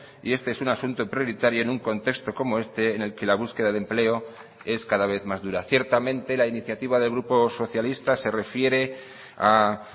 y este es un asunto prioritario en un contexto como este en el que la búsqueda de empleo es cada vez más dura ciertamente la iniciativa del grupo socialista se refiere a